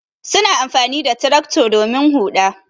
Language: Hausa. Suna amfani da tractor domin huɗa.